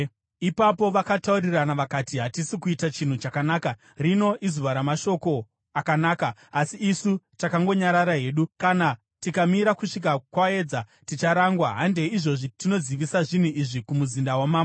Ipapo vakataurirana vakati, “Hatisi kuita chinhu chakanaka. Rino izuva ramashoko akanaka asi isu takangonyarara hedu. Kana tikamira kusvika kwaedza, ticharangwa. Handei izvozvi tinozivisa zvinhu izvi kumuzinda wamambo.”